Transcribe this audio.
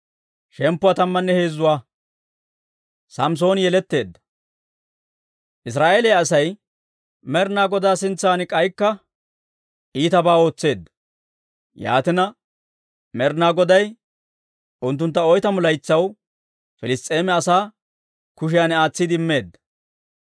Israa'eeliyaa Asay Med'inaa Godaa sintsan k'aykka iitabaa ootseedda. Yaatina, Med'inaa Goday unttuntta oytamu laytsaw Piliss's'eema asaa kushiyan aatsiide immeedda.